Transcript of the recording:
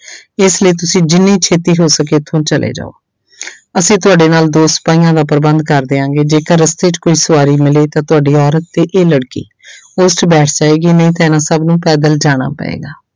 ਇਸ ਲਈ ਤੁਸੀਂ ਜਿੰਨੀ ਛੇਤੀ ਹੋ ਸਕੇ ਇੱਥੋਂ ਚਲੇ ਜਾਓ ਅਸੀਂ ਤੁਹਾਡੇ ਨਾਲ ਦੋ ਸਿਪਾਹੀਆਂ ਦਾ ਪ੍ਰਬੰਧ ਕਰ ਦਿਆਂਗੇ ਜੇਕਰ ਰਸਤੇ 'ਚ ਕੋਈ ਸਵਾਰੀ ਮਿਲੇ ਤਾਂ ਤੁਹਾਡੀ ਔਰਤ ਤੇ ਇਹ ਲੜਕੀ ਉਸ 'ਚ ਬੈਠ ਜਾਏਗੀ ਨਹੀਂ ਤਾਂ ਇਹਨਾਂ ਸਭ ਨੂੰ ਪੈਦਲ ਜਾਣਾ ਪਏਗਾ।